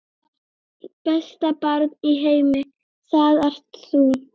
Besta barn í heimi, það ert þú.